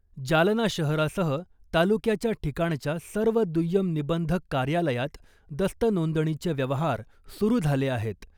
जालना शहरासह तालुक्याच्या ठिकाणच्या सर्व दुय्यम निबंधक कार्यालयात दस्त नोंदणीचे व्यवहार सुरू झाले आहेत .